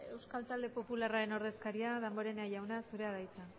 euskal talde popularraren ordezkaria damborenea jauna zurea da hitza